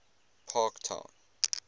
parktown